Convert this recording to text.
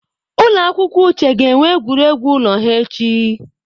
Ụlọ akwụkwọ Uche ga-enwe egwuregwu ụlọ ha echi